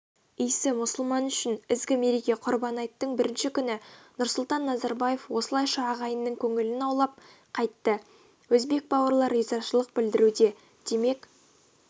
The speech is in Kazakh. иісі мұсылман үшін ізгі мереке құрбан айттың бірінші күні нұрсұлтан назарбаев осылайша ағайынның көңілін аулап қайтты өзбек бауырлар ризашылық білдіруде демек